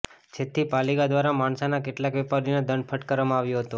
જેથી પાલિકા દ્વારા માણસાના કેટલાક વેપારીઓને દંડ ફટકારવામાં આવ્યો હતો